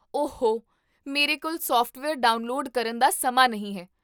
ਓਹ ਹੋ, ਮੇਰੇ ਕੋਲ ਸੋਫਟਵੇਅਰ ਡਾਉਨਲੋਡ ਕਰਨ ਦਾ ਸਮਾਂ ਨਹੀਂ ਹੈ